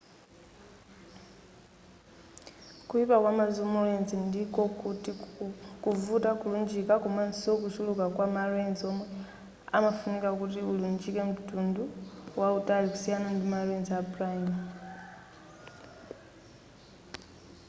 kuyipa kwa ma zoom lens ndiko kuti kuvuta kulunjika komaso kuchuluka kwa ma lens omwe amafunika kuti ulunjike mtunda wautali kusiyana ndi ma lens a prime